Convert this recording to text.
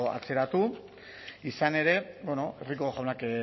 atzeratu izan ere rico jaunak